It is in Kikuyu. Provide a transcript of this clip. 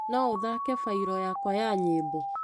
No ũthake bairũ yakwa ya nyĩmbo .